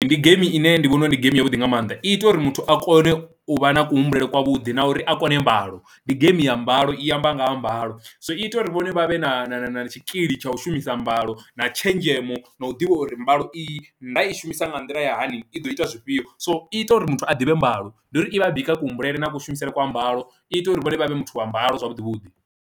Ndi geimi ine ndi vhona uri ndi game yavhuḓi nga maanḓa i ita uri muthu a kone u vha na kuhumbulele kwa vhuḓi na uri a kone mbalo, ndi game ya mbalo i amba nga ha mbalo, so ita uri vhone vha vhe na na na tshikili tsha u shumisa mbalo na tshenzhemo na u ḓivha uri mbalo i nda i shumisa nga nḓila ya hani i ḓo ita zwifhio. So i ita uri muthu a ḓivhe mbalo ndi uri i vha i bika kuhumbulele na kushumisele kwa mbalo i ita uri vhone vha vhe muthu wa mbalo zwavhuḓi vhuḓi.